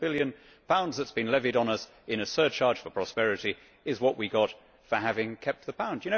1.7 billion that has been levied on us in a surcharge for prosperity is what we got for having kept the Pound.